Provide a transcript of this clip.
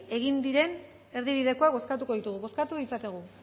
egin diren erdibidekoa bozkatuko ditugu bozkatu dezakegu